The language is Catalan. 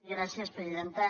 gràcies presidenta